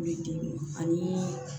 I bi denw ani